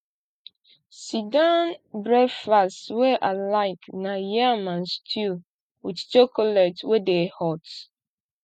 sitdown breakfast wey i like na yam and stew wit chocolate wey dey hot